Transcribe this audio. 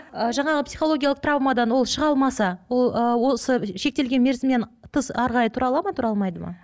ы жаңағы психологиялық травмадан ол шыға алмаса ол ы сол шектелген мерзімнен тыс әрі қарай тұра ала ма тұра алмайды ма